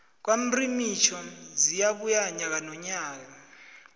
kwamrimitjho ziyabuya nyaka nonyaka